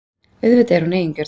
Auðvitað er hún eigingjörn.